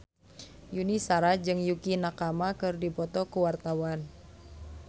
Yuni Shara jeung Yukie Nakama keur dipoto ku wartawan